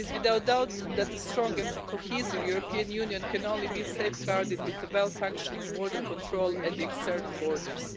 It is without doubt that a strong and cohesive European Union can only be safeguarded with well functioning border control at the external borders.